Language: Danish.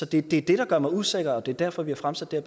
det er det der gør mig usikker og det er derfor vi har fremsat det